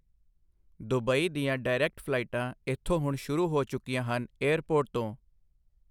Dubai ਦੀਆਂ direct ਫਲਾਈਟਾਂ ਇੱਥੋਂ ਹੁਣ ਸ਼ੁਰੂ ਹੋ ਚੁੱਕੀਆਂ ਹਨ ਏਅਰਪੋਰਟ ਤੋਂ।